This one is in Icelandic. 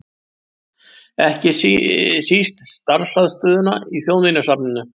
Ekki síst starfsaðstöðuna í Þjóðminjasafninu.